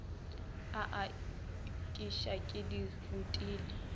a aketša ke di rutile